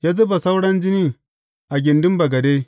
Ya zuba sauran jinin a gindin bagade.